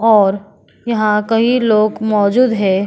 और यहाँ कई लोग मौजूद है।